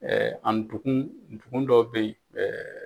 an donkun dɔw bɛyi.